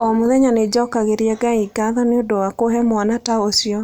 O mũthenya nĩ njokagĩria Ngai ngatho nĩ ũndũ wa kũhe mwana ta ũcio.